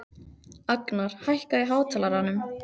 Agnar, hækkaðu í hátalaranum.